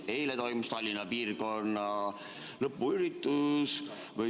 Eile toimus Tallinna piirkonna selle hooaja lõpuüritus.